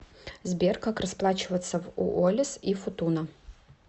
сбер как расплачиваться в уоллис и футуна